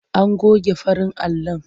An goge farin alon.